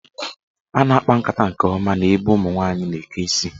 A na-akpa nkata nke ọma n'ebe ụmụnwanyị na-eke isi.